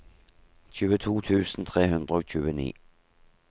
tjueto tusen tre hundre og tjueni